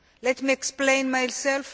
Let me explain myself.